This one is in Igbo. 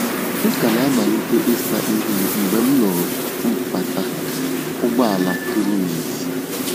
M ka na-amalite ịsa ihu m mgbe m nụụrụ mkpata ụgbọala tụrụ n’èzí.